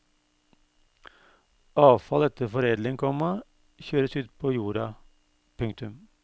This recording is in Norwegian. Avfall etter foredling, komma kjøres ut på jorda. punktum